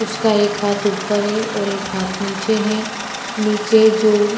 उसका एक हाथ उपर है और एक हाथ नीचे है नीचे जो --